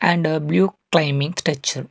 and blue claiming touch up.